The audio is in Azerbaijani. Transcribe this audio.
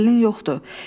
Təsəllin yoxdur.